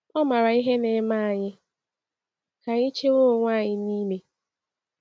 Ọ maara ihe na-eme anyị ka anyị chewe onwe anyị n’ime.